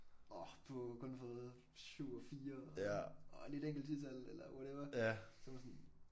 Orh du har jo kun fået 7 og 4 og lige et enkelt 10-tal eller whatever så man sådan